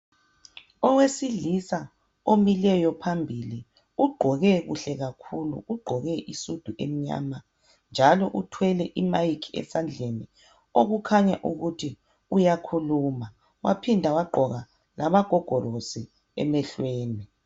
Owesilisa omileyo phambili ugqoke kuhle kakhulu ugqoke isudu emnyama njalo uthwele imic esandleni okukhanya ukuthi uyakhuluma waphinda wagqoka lamagogorosi emhlweni